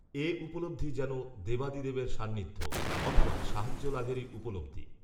এ উপলব্ধি যেন দেবাদিদেবের সান্নিধ্য, অথবা, সাহায্য লাভেরই উপলব্ধি